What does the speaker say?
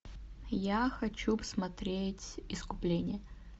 я хочу посмотреть искупление